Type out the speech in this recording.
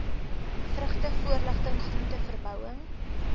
vrugte voorligting groenteverbouing